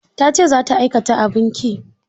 Ta ce za ta aikata abin ƙi.